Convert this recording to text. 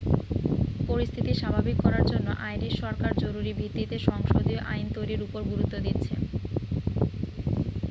পরিস্থিতি স্বাভাবিক করার জন্য আইরিশ সরকার জরুরি ভিত্তিতে সংসদীয় আইন তৈরির উপর গুরুত্ব দিচ্ছে